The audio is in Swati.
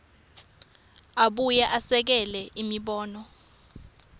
abuye esekele imibono